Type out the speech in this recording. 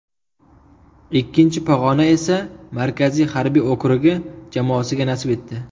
Ikkinchi pog‘ona esa Markaziy harbiy okrugi jamoasiga nasib etdi.